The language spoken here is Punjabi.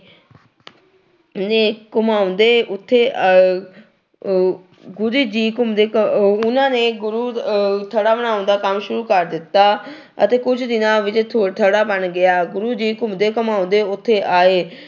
ਨੇ ਘੁਮਾਉਂਦੇ ਉੱਥੇ ਅਹ ਅਹ ਗੁਰੂ ਜੀ ਘੁੰਮਦੇ ਘ ਅਹ ਉਹਨਾਂ ਨੇ ਗੁਰੂ ਅਹ ਥੜਾ ਬਣਾਉਣ ਦਾ ਕੰਮ ਸ਼ੁਰੂ ਕਰ ਦਿੱਤਾ ਅਤੇ ਕੁੱਝ ਦਿਨਾਂ ਵਿੱਚ ਥ ਥੜਾ ਬਣ ਗਿਆ, ਗੁਰੂ ਜੀ ਘੁੰਮਦੇ ਘੁਮਾਉਂਦੇ ਉੱਥੇ ਆਏ